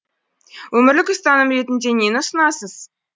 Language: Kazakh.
өмірлік ұстаным ретінде нені ұсынасыз